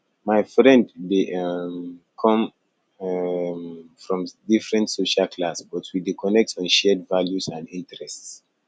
my friend dey um come um from different social class but we dey connect on shared values and interests